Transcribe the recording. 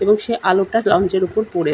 এবং সেই আলোটা লউন্জ এর ওপর পরে।